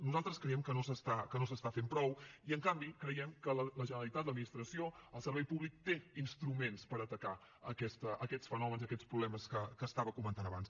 nosaltres creiem que no s’està fent prou i en canvi creiem que la generalitat l’administració el servei públic tenen instruments per atacar aquests fenòmens i aquests problemes que estava comentant abans